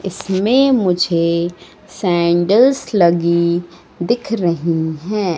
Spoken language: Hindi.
इसमें मुझे सैंडल्स लगी दिख रही है।